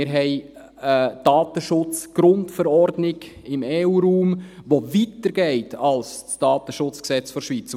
Wir haben die EU-DSGVO im EU-Raum, die weiter geht als das DSG der Schweiz.